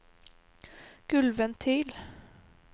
gulvventil